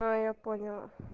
а я поняла